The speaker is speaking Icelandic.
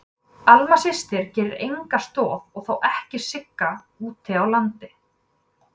Alma systir gerir enga stoð og þá ekki Sigga úti á landi.